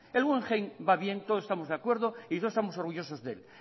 el guggenheim va bien todos estamos de acuerdo y todos estamos orgullosos de él